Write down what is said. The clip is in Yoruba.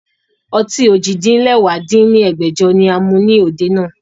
Ọtí ojì-din-lẹwá dín ní ẹgbẹ́jọ ni a mu ni òde náà